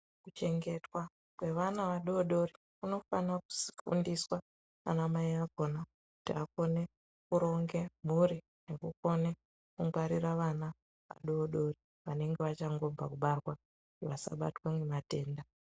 Kuchengetwa kwevana vadodori kunofana kuSindiswa ana mai akhona kuti vakone kuronge mhuri okone kungwarirq vana vadodori vanenga vachangobva kubarwa vasabatwa ngematenda.